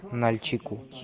нальчику